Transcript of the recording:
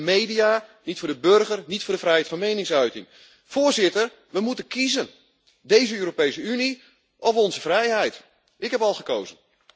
Niet voor de media, niet voor de burger en niet voor de vrijheid van meningsuiting. Voorzitter, we moeten kiezen deze Europese Unie of onze vrijheid. Ik heb al gekozen.